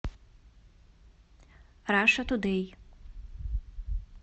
раша тудей